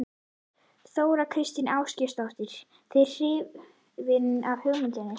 Þóra Kristín Ásgeirsdóttir:. þið hrifin af hugmyndinni?